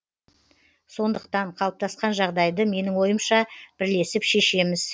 сондықтан қалыптасқан жағдайды менің ойымша бірлесіп шешеміз